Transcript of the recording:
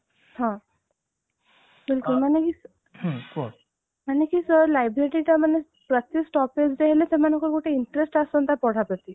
ହଁ ବିଲକୁଲ ମାନେ ହଁ କୁହ ଏମିତିକି libraryଟା ମାନେ ପ୍ରତି stoppageରେ ହେଲେ ସେମାନଙ୍କୁ ଗୋଟେ interest ଆସନ୍ତା ପଢା ପ୍ରତି